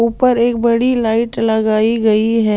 ऊपर एक बड़ी लाइट लगाई गई है।